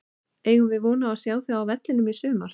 Eigum við von á að sjá þig á vellinum í sumar?